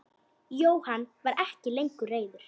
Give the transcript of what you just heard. Jóhann var ekki lengur reiður.